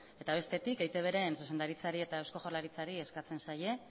eta bestetik eitbren zuzendaritzari eta eusko jaurlaritzari eskatzen zaie